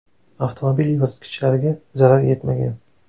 Avtomobil yoritgichlariga zarar yetmagan.